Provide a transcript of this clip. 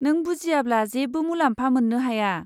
नों बुजियाब्ला जेबो मुलाम्फा मोन्नो हाया।